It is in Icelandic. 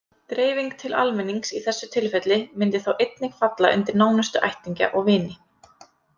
Dreifing til almennings í þessu tilfelli myndi þá einnig falla undir nánustu ættingja og vini.